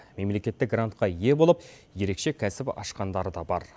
мемлекеттік грантқа ие болып ерекше кәсіп ашқандары да бар